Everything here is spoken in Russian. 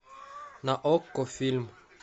на окко фильм